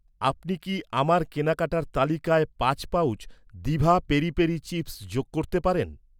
আপনি কি আমার কেনাকাটার তালিকায় পাঁচ pouch diva peri peri chips যোগ করতে পারেন?